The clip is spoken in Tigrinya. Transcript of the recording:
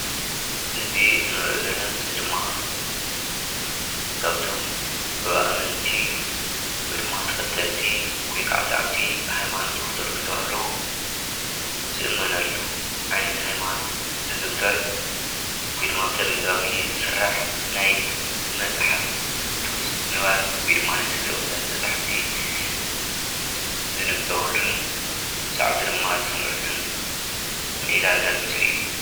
እዚ ንሪኦ ዘለና ምስሊ ድማ ካብቶም ብኣመንቲ ወይ ድማ ተኸተልቲ ወይ ከዓ ሰዓብቲ ሃይማኖት ኦርቶዶክስ ተዋህዶ ዝእመነሉ ዓይነት ሃይማኖት ዝዝውተር ወይ ድማ ብተደጋጋሚ ዝስራሕ ናይ መፅሓፍ ቅዱስ ንባብ ወይ ድማ ቅዱሳት መፅሓፍቲ ዝንበበሉን ሰዓብቲ ድማ ዝሰምዑሉን ሜላ ዘርኢ ምስሊ እዩ፡፡